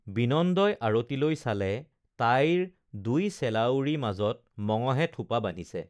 বিনন্দই আৰতিলৈ চালে তাইৰ দুই চেলাউৰি মাজত মঙহে থোপা বান্ধিছে